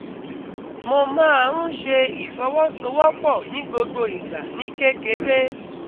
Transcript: Mo máa ń ṣe ìfọwọ́sowọ́pọ̀ ní gbogbo ìgbà ní kékeré